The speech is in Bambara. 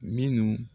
Minnu